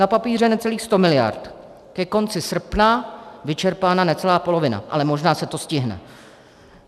Na papíře necelých 100 mld., ke konci srpna vyčerpána necelá polovina, ale možná se to stihne.